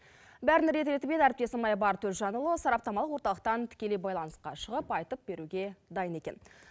бәрін рет ретімен әріптесім айбар төлжанұлы сараптамалық орталықтан тікелей байланысқа шығып айту беруге дайын екен